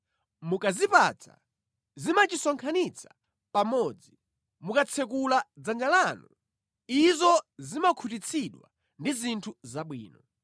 Mukazipatsa, zimachisonkhanitsa pamodzi; mukatsekula dzanja lanu, izo zimakhutitsidwa ndi zinthu zabwino.